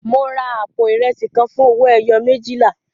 Mo ra àpò ìrẹsì kan fún owó ẹyọ méjìlá.